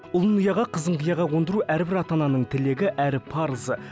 ұлын ұяға қызын қияға қондыру әрбір ата ананың тілегі әрі парызы